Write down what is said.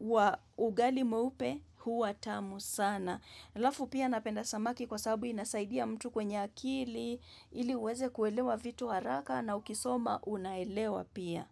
wa ugali mweupe huwa tamu sana. Alafu pia napenda samaki kwa sababu inasaidia mtu kwenye akili, ili uweze kuelewa vitu haraka na ukisoma unaelewa pia.